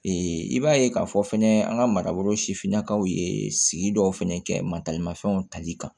i b'a ye k'a fɔ fɛnɛ an ka marabolo sifinnakaw ye sigi dɔw fɛnɛ kɛ matalimafɛnw tali kan